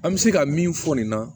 An bɛ se ka min fɔ nin na